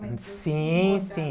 Sim, sim.